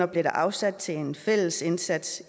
blev afsat til en fælles indsats